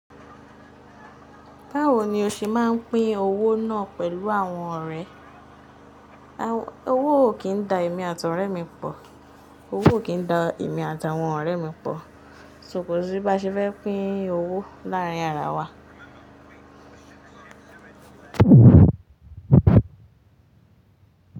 Báwo ni o ṣe máa pín owó náà pẹ̀lú àwọn ọ̀rẹ́? Owó òkín da èmi at'ore mí pọ Owó ò kín ń da èmi àti àwọn ọ̀rẹ́ mi pọ̀, sókì bí bá ṣe fẹ́ pín owó láàárín ara wa.